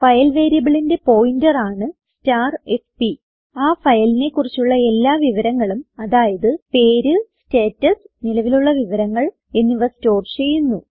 file variableന്റെ pointer ആണ് fp ആ ഫയലിനെ കുറിച്ചുള്ള എല്ലാ വിവരങ്ങളും അതായത് പേര് സ്റ്റാറ്റസ് നിലവിലുള്ള വിവരങ്ങൾ എന്നിവ സ്റ്റോർ ചെയ്യുന്നു